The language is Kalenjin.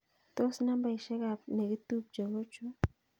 Tos nambaisyek ab negitupche kochu